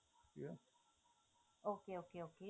okay okay okay